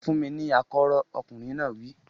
Fún mi ní akọ́rọ́! Ọkùnrin náà wí.